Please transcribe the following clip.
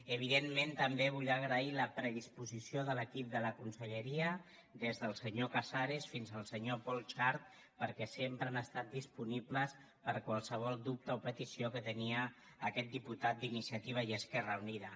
evidentment també vull agrair la predisposició de l’equip de la conselleria des del senyor casares fins al senyor pol xart perquè sempre han estat disponibles per a qualsevol dubte o petició que tenia aquest diputat d’iniciativa i esquerra unida